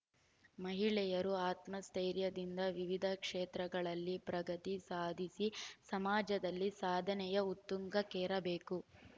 ಮಹಿಳೆಯರು ಆತ್ಮಸ್ಥೈರ್ಯದಿಂದ ವಿವಿಧ ಕ್ಷೇತ್ರಗಳಲ್ಲಿ ಪ್ರಗತಿ ಸಾಧಿಸಿ ಸಮಾಜದಲ್ಲಿ ಸಾಧನೆಯ ಉತ್ತುಂಗಕ್ಕೇರ ಬೇಕು